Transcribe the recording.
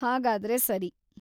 ಹಾಗಾದ್ರೆ ಸರಿ!